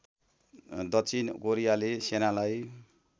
दक्षिण कोरियाले सेनालाई